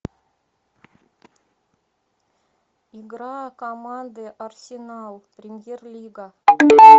игра команды арсенал премьер лига